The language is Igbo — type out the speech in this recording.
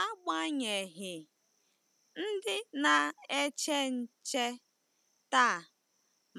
Agbanyeghị, ndị na-eche nche taa